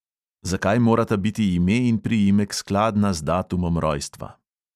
Zakaj morata biti ime in priimek skladna z datumom rojstva?